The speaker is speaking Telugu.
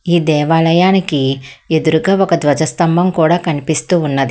ఈ దేవాలయానికి ఎదురుగా ఒక ధ్వజస్తంభం కూడా కనిపిస్తూ ఉన్నది.